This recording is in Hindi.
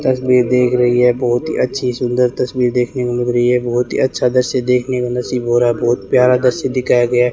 तस्वीर देख रही है बहुत ही अच्छी सुंदर तस्वीर देखने को मिल रही है बहोत ही अच्छा दृश्य देखने को नसीब हो रहा बहोत प्यार दृश्य दिखाया गया।